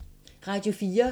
Radio 4